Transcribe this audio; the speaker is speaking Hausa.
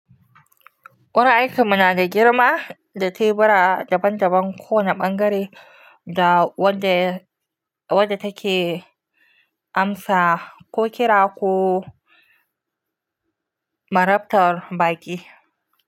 Wuraren aikin mu na da girma da tebura daban-daban, kowane ɓangare da wadda wadda take amsa ko kira ko marabtar baƙi.